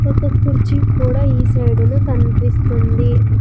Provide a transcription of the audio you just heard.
ఒక కుర్చీ కూడా ఈ సైడులో కన్పిస్తుంది.